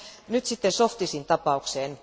Nyt sitten Zhovtisin tapaukseen.